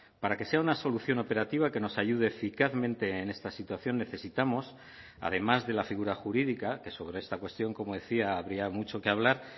para que sea una solución operativa que nos ayude eficazmente en esta situación necesitamos además de la figura jurídica que sobre esta cuestión como decía habría mucho que hablar